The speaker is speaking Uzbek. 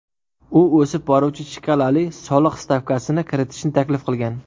U o‘sib boruvchi shkalali soliq stavkasini kiritishni taklif qilgan.